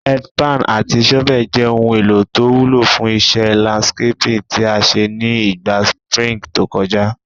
Head pan àti shovel je oun èlò to wúlò fún isé landscaping tí a sé ni ìgba spring to kojá